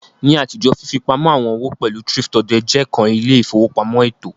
Ni atijo, fifipamọ awọn owo pẹlu thrift-odè je kan ile-ifowopamọ eto.